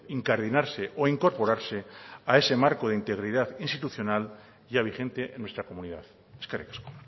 incardinarse o incorporarse a ese marco de integridad institucional ya vigente en nuestra comunidad eskerrik asko